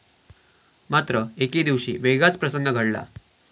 मात्र एकेदिवशी वेगळाच प्रसंग घडला.